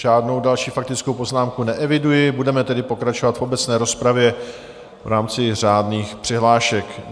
Žádnou další faktickou poznámku neeviduji, budeme tedy pokračovat v obecné rozpravě v rámci řádných přihlášek.